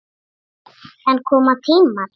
En koma tímar.